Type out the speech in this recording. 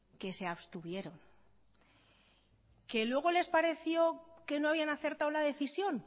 que se abstuvieron que luego les pareció que no habían acertado la decisión